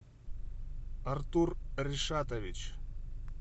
артур ришатович